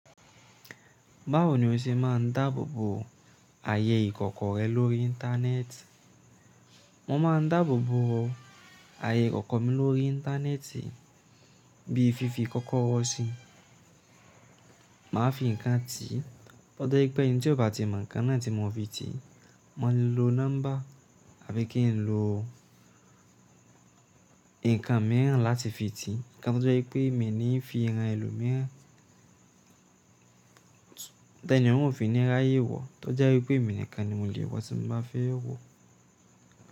Báwo ni o ṣe máa ń dáàbò bo ààyè ìkọ̀kọ̀ rẹ lórí íńtánẹ́ẹ̀tì? Mo maa n dáàbò bo ààyè ikoko mi lórí íńtánẹ́ẹ̀tì. Bi fífi kọ́kọ́rọ́ sí i. Màá fi nǹkan tì, o je i pé ẹni tí ó bá ti mọ̀ nǹkan náà tí mo fi tì í, mo lè lo nọ́mbà àbí kí n lo nǹkan mìíràn láti fi tì í. Ǹkan tí ó jẹ́ ipé mi ni ń fi hàn ẹlòmíràn, tẹ ẹni ọ̀ún ò fi ní ráyè wọ̀, tó jẹ́ wípé èmi nìkan ni mo le wọ̀ tí mo bá fẹ́ wọ̀.